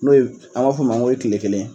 N'o ye , an b'a fo ma n go ye kile kelen ye.